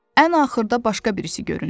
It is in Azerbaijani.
Ən axırda başqa birisi göründü.